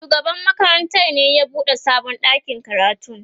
shugaban makarantar ne ya buɗe sabon ɗakin karatun.